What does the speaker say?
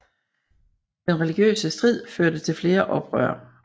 Den religiøse strid førte til flere oprør